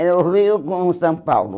Era o Rio com o São Paulo.